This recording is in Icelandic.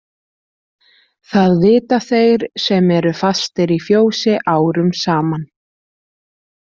Það vita þeir sem eru fastir í fjósi árum saman.